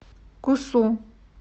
кусу